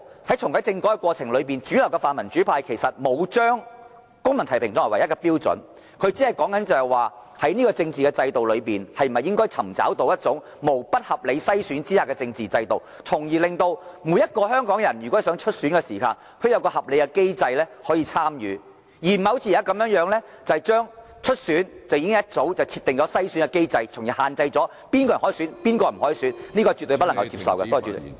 在這個過程裏，主流的泛民主派其實並沒有把公民提名視為唯一的標準，而只是提出在這個政治制度下，應否尋求一種無不合理篩選的機制，令每個香港人在希望參選時可循合理機制參與其中，而不是好像現時這般，早已設定篩選機制，限制了哪些人可以或不可以參選......